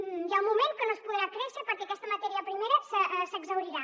hi ha un moment que no es podrà créixer perquè aquesta matèria primera s’exhaurirà